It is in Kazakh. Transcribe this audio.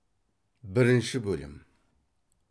бірінші бөлім